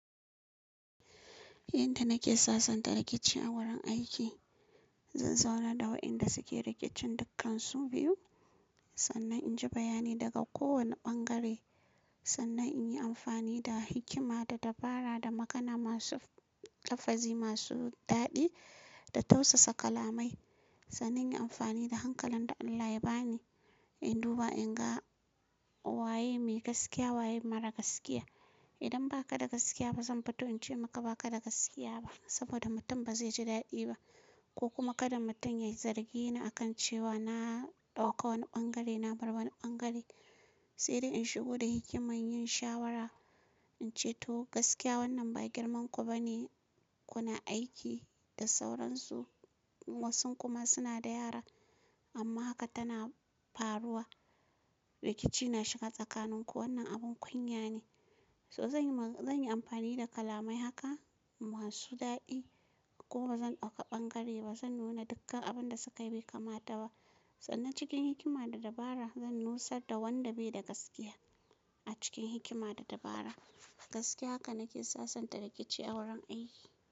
Yadda nake sasanta rikici a wurin aiki, zan zauna da waɗanda suke rikicin dukkansu biyu, sannan inji bayani daga kowane ɓangare. Sannan in yi amfani da hikima da dabara da makana masu lafazi masu daɗi da tausasa kalamai. Sannan in yi amfani da hankalan da Allah ya ba ni, in duba in ga waye mai gaskiya waye mara gaskiya. Idan ba ka da gaskiya ba zan fito in ce maka ba ka da gaskiya ba. Saboda mutum ba zai ji daɗi ba ko kuma kaɗai mutum ya yi zargi ni a kan cewa na ɗauka wani ɓangare na bar wani ɓangare. Sai dai in shigo da hikima yin shawara in ce to gaskiya wannan ba girman ku ba ne kuna aiki da sauransu. Wasu kuma suna da yara amma haka tana faruwa. Rikici na shiga tsakanin ku wannan abin kunya ne. So zan yi, zan yi amfani da kalamai haka masu daɗi ko ba zan ɗauka ɓangare ba. Zan nuna dukkan abin da sukayi bai kamata ba. Sannan cikin hikima da dabara zan nusar da wanda bai da gaskiya a cikin hikima da dabara. Gaskiya haka nake sasanta rikici a wurin aiki.